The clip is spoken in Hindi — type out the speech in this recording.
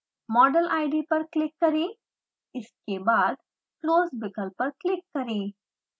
model id पर क्लिक करें इसके बाद close विकल्प पर क्लिक करें